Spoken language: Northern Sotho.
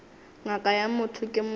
ngaka ya motho ke motho